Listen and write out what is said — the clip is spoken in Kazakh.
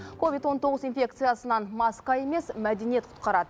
ковид он тоғыз инфекциясынан маска емес мәдениет құтқарад